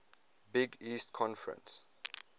big east conference